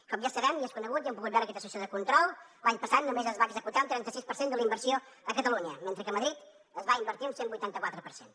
com ja sabem ja és conegut i ho hem pogut veure en aquesta sessió de control l’any passat només es va executar un trenta sis per cent de la inversió a catalunya mentre que a madrid s’hi va invertir un cent vuitanta quatre per cent